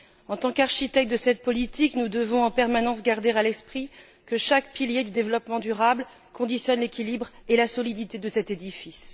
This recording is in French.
En tant qu'architectes de cette politique, nous devons en permanence garder à l'esprit que chaque pilier du développement durable conditionne l'équilibre et la solidité de cet édifice.